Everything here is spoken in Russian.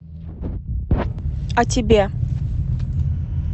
а тебе